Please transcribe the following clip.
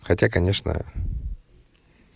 хотя конечно